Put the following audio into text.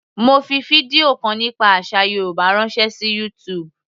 Mo fi fídíò kan nípa àsà Yorùbá ránṣẹ́ sí YouTube.